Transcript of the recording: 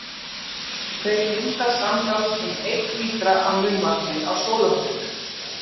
Þeir mynda samtals um einn lítra af munnvatni á sólarhring.